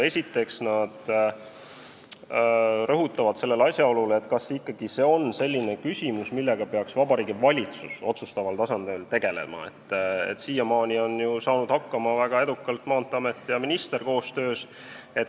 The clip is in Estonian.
Esiteks rõhutavad nad asjaolu, et äkki see ei ole selline küsimus, millega peaks Vabariigi Valitsus otsustaval tasandil tegelema, sest siiamaani on ju sellega väga edukalt saanud hakkama Maanteeamet ja minister koostöös.